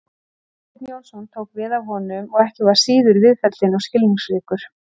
Eysteinn Jónsson tók við af honum og var ekki síður viðfelldinn og skilningsríkur.